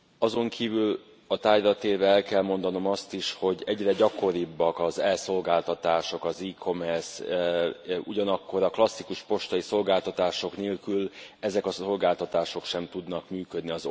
Azonkívül a tárgyra térve el kell mondanom azt is, hogy egyre gyakoribbak az e szolgáltatások, az e kommersz, ugyanakkor a klasszikus postai szolgáltatások nélkül ezek a szolgáltatások sem tudnak működni.